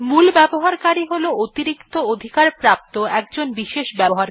মূল ব্যবহারকারী হল অতিরিক্ত অধিকার প্রাপ্ত একজন বিশেষ ব্যক্তি